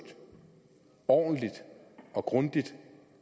ordentligt og grundigt